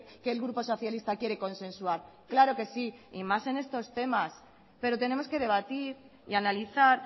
que el grupo socialista quiere consensuar claro que sí y más en estos temas pero tenemos que debatir y analizar